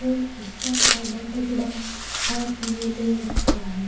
और इसका आधा टुकड़ा हाथ में ले रखा है।